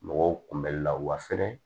Mɔgɔw kunbɛli la wa fɛnɛ